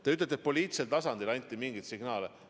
Te ütlete, et poliitilisel tasandil anti mingeid signaale.